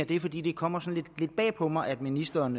det fordi det kommer sådan lidt bag på mig at ministeren